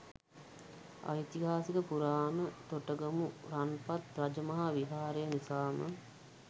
ඓතිහාසික පුරාණ තොටගමු රන්පත් රජමහා විහාරය නිසාම